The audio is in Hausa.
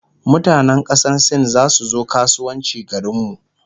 mutanan kasan sin zasu zo kasuwanci garinmu